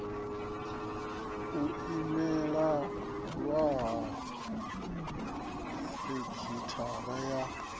u imelelwa ha sekhithara ya